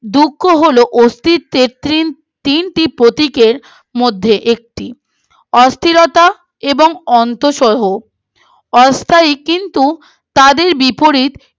দুঃখ হলো অস্তিত্বের তিনটি প্রতীকের মধ্যে একটি অস্থিরতার এবং অন্ত সমূহ অস্থায়ী কিন্তু তাদের বিপরীত